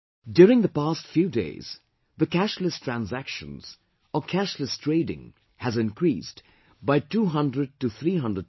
During the past few days, the cashless transactions, or cashless trading has increased by 200 to 300%